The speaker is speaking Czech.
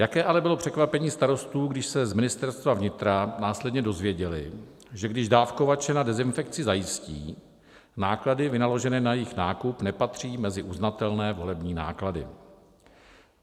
Jaké ale bylo překvapení starostů, když se z Ministerstva vnitra následně dozvěděli, že když dávkovače na dezinfekci zajistí, náklady vynaložené na jejich nákup nepatří mezi uznatelné volební náklady.